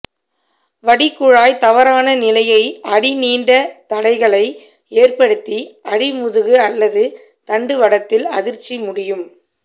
வடிகுழாய் தவறான நிலையை அடி நீண்ட தடைகளை ஏற்படுத்தி அடிமுதுகு அல்லது தண்டுவடத்தில் அதிர்ச்சி முடியும்